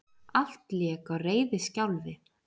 Allt lék á reiðiskjálfi.